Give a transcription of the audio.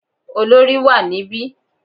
Olorì wà níbí.